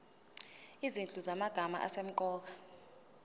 izinhlu zamagama asemqoka